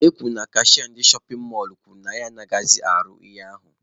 E kwuru na kashịa ndị shọpin mọlụ kwuru na ya achọghịzị ịrụ e ahụ